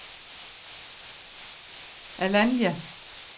Alanya